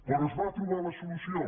però es va trobar la solució